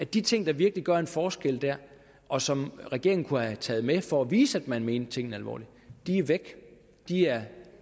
de ting der virkelig gør en forskel der og som regeringen kunne have taget med for at vise at man mente tingene alvorligt er væk de er